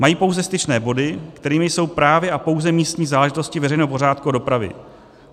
Mají pouze styčné body, kterými jsou právě a pouze místní záležitosti veřejného pořádku a dopravy.